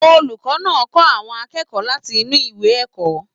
Olùkọ náà kọ àwọn akẹ́kọ̀ọ́ láti inú ìwé ẹ̀kọ́.